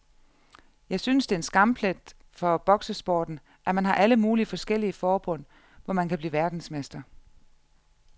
Jeg synes det er en skamplet for boksesporten, at man har alle mulige forskellige forbund, hvor man kan blive verdensmester.